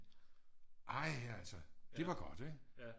Ej altså det var godt ikke